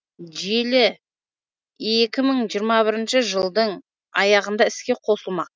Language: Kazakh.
желі екі мың жиырма бірінші жылдың аяғында іске қосылмақ